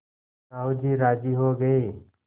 साहु जी राजी हो गये